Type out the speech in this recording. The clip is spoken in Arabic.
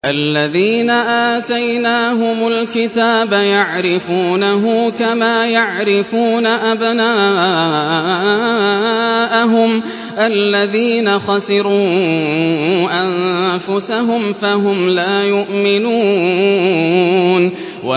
الَّذِينَ آتَيْنَاهُمُ الْكِتَابَ يَعْرِفُونَهُ كَمَا يَعْرِفُونَ أَبْنَاءَهُمُ ۘ الَّذِينَ خَسِرُوا أَنفُسَهُمْ فَهُمْ لَا يُؤْمِنُونَ